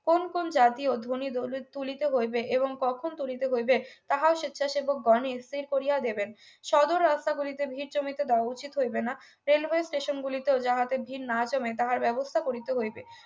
কোন কোন জাতীয় ধ্বনি তুলিতে হইবে এবং কখন তুলিতে হইবে তাহা স্বেচ্ছাসেবক গনি স্থির করিয়া দেবেন সদর রাস্তাগুলিতে ভিড় জমিতে দেওয়া উচিত হইবে না railway station গুলিতে ও যাহাতে ভিড় না জমে তাহার ব্যবস্থা করিতে হইবে